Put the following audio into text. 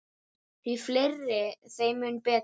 Því fleiri, þeim mun betra.